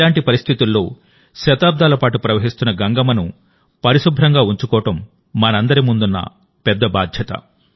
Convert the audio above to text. ఇలాంటి పరిస్థితుల్లో శతాబ్దాల పాటు ప్రవహిస్తున్న గంగమ్మను పరిశుభ్రంగా ఉంచుకోవడం మనందరి ముందున్న పెద్ద బాధ్యత